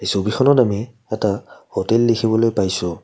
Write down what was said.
এই ছবিখনত আমি এটা হোটেল দেখিবলৈ পাইছোঁ।